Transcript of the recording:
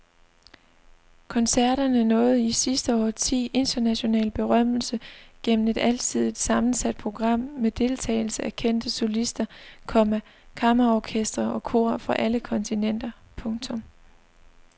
Koncerterne nåede i sidste årti international berømmelse gennem et alsidigt sammensat program med deltagelse af kendte solister, komma kammerorkestre og kor fra alle kontinenter. punktum